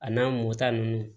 A n'a mɔta ninnu